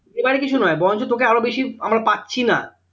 এবারে কিছু নয় বরঞ্চ তোকে আরো বেশি আমরা পাচ্ছি না।